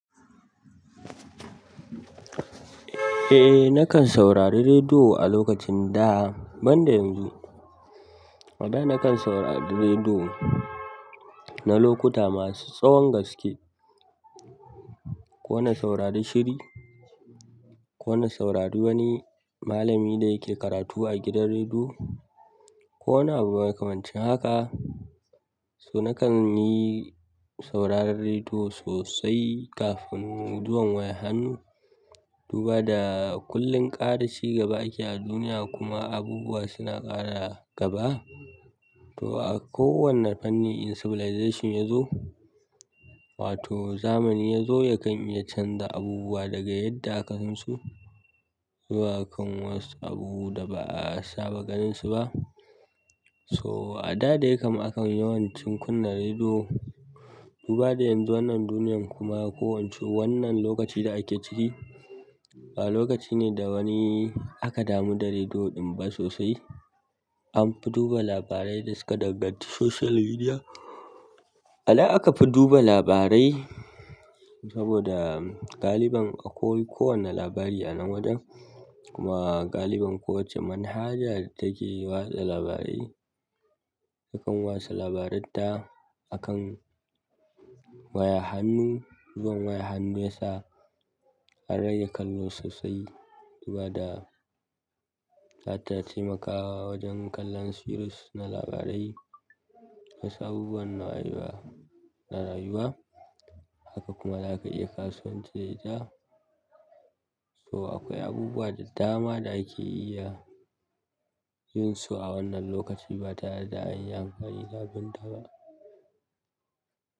Eh, nakan saurari rediyo a lokacin da banda yanzu. A da nakan saurari rediyo na lokuta masu tsawon gaske, ko na saurari shiri, ko na saurari wani malami da yake karatu a gidan rediyo waja nakan saurari rediyo na lokuta masu tsawon gaske, ko na saurari shiri, ko na saurari wani malami da yake karatu a gidan rediyo nakan yi sauraran rediyo sosai kafin fitowar wayar hannu duba da kullum ƙara cigaba ake a duniya kuma abubuwa suna ƙara gaba. To a kowane fanni in civilization yazo wato zamani yazo yakan iya canza abubuwa daga yadda ka san su zuwa kan wasu abubuwa da ba a saba ganinsu ba. So a da dai kam akan yawancin kunna rediyo. Duba da yanzu wannan duniyan kuma ko wance wannan lokaci da ake ciki ba lokaci ne da wani aka damu da rediyo ɗin ba sosai. Toh a kowanne fanni in civilization yazo wato zamani yazo yakan iya canza abubuwa daga yadda ka san su zuwa kan wasu abubuwa da ba'a saba ganinsu ba. A nan aka fi duba labarai saboda a da aka fi duba labarai saboda takan watsa labaranta a kan waya hannu. Zuwan wayan hannu ya sa an rage kallo sosai duba da ta taimakawa wajen kallon series na labarai. Wasu abubuwan na rayuwa haka kuma za ka iya kasance da ita. So, akwai abubuwa da dama da ake iya jin su a wannan lokacin ba tareda anyi amfani da ba.